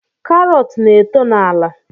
Karọt na-eto n’ala